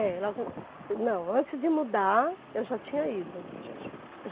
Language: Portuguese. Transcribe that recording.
É, logo... Não, antes de mudar, eu já tinha ido. Já tinha. Já